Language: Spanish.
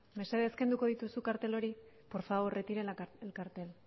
mesedez kenduko dituzue kartel hori por favor retire el cartel